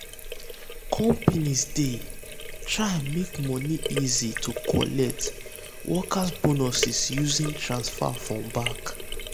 companies dey um try make um money easy to um collect workers bonuses using transfer from bank